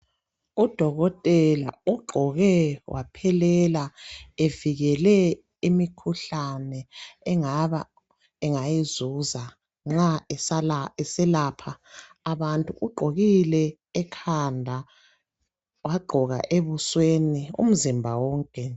Udokotela ugqoke waphelela ,evikele imikhuhlane engabe engayizuza nxa eselapha abantu. Ugqokile ekhanda, wagqoka ebusweni, umzimba wonke.